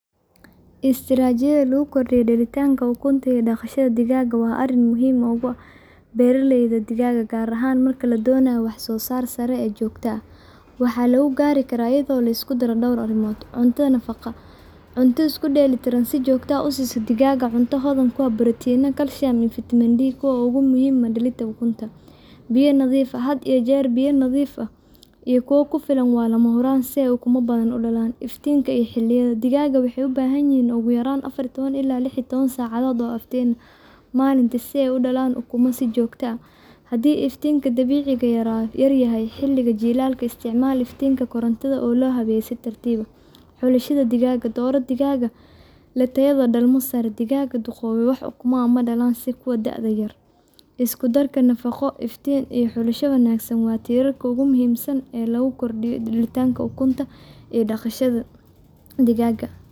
Istaraatiijiyadda lagu kordhiyo dhalitaanka ukunta iyo daaqashada digaaga waa arrin muhiim ugu ah beeralayda digaagga, gaar ahaan marka la doonayo wax-soo-saar sare oo joogto ah. Waxaa lagu gaari karaa iyadoo la isku daro dhowr arrimood. Cuntada nafaqada cunto isku dheelitiran Si joogto ah u siiso digaagga cunto hodan ku ah protein, calcium, , iyo vitamin D3, kuwaas oo muhiim u ah dhalinta ukunta. Biyo nadiif ah had iyo jeer biyo nadiif ah iyo kuwo ku filan waa lama huraan si ay ukumo badan u dhalaan. Iftiinka iyo xilliyada digaagga waxay ubaahan yihiin ugu yaraan afar iyo toban ila lix iyo toban saacadood oo iftiin ah maalintii si ay ukumo u sii dhalaan si joogto ah. Haddii iftiinka dabiiciga ahi yaryahay xilliga jiilaalka, isticmaal iftiin koronto oo loo habeeyay si tartiib tartiib ah. Xulashada digaagga dhalmada Dooro noocyada digaagga leh tayada dhalmo sare, Digaag duqoobay wax ukumo ah ma dhalaan sida kuwii da’ yar. Isku darka nafaqo, iftiin, deegaanka wanaagsan, iyo maarayn sax ah oo xagga taranka ah waa tiirarka ugu muhiimsan ee lagu kordhiyo dhalitaanka ukunta iyo daaqashada digaagga.